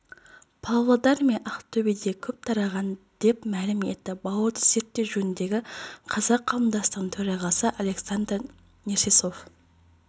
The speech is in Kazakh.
павлодар мен ақтөбеде көп тараған деп мәлім етті бауырды зерттеу жөніндегі қазақ қауымдастығының төрағасы александр нерсесов